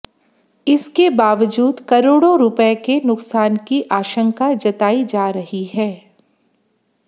इसके बावजूद करोड़ों रुपये के नुकसान की आशंका जतायी जा रही हैं